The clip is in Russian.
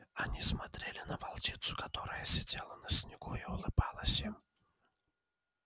они смотрели на волчицу которая сидела на снегу и улыбалась им